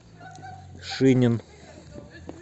шинин